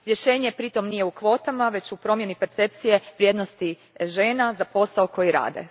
Rješenje pritom nije u kvotama, već u promjeni percepcije vrijednosti žena za posao koji rade.